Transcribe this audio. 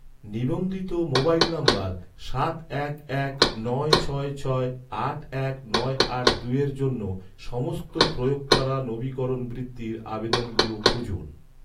নিবন্ধিত মোবাইল নম্বর সাত এক এক নয় ছয় ছয় আট এক নয় আট দুইয়ের জন্য, সমস্ত প্রয়োগ করা নবীকরণ বৃত্তির আবেদনগুলো খুঁজুন